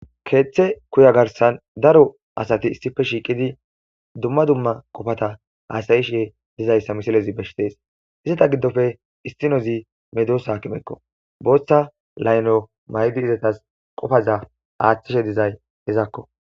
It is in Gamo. Keeththe kuya garsan daro asati issife shiiqidi dumma dumma qofata aasayishe dizayssa misilezi beshitees iseta giddofe istinozi medosaakimekko booththa layno maydi izatas qofaza aaththishe dizay hezakko.